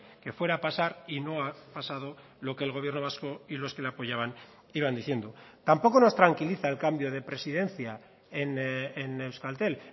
que fuera a pasar y no ha pasado lo que el gobierno vasco y los que le apoyaban iban diciendo tampoco nos tranquiliza el cambio de presidencia en euskaltel